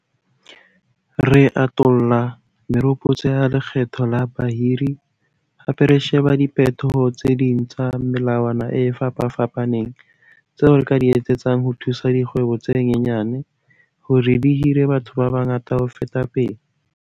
Re atolla meropotso ya lekgetho la bahiri, hape re sheba diphetoho tse ding tsa melawana e fapafapaneng tseo re ka di etsetsang ho thusa dikgwebo tse nyenyane hore di hire batho ba bangata ho feta pele.